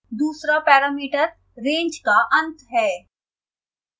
दूसरा parameter range का अंत है